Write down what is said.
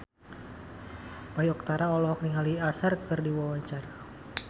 Bayu Octara olohok ningali Usher keur diwawancara